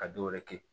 Ka dɔ wɛrɛ kɛ